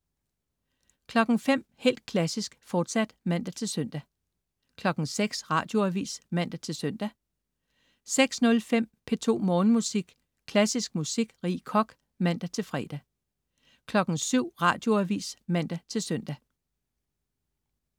05.00 Helt Klassisk, fortsat (man-søn) 06.00 Radioavis (man-søn) 06.05 P2 Morgenmusik. Klassisk musik. Rie Koch (man-fre) 07.00 Radioavis (man-søn)